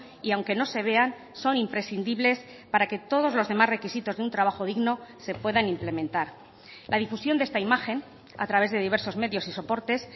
y aunque no se vean son imprescindibles para que todos los demás requisitos de un trabajo digno se puedan implementar la difusión de esta imagen a través de diversos medios y soportes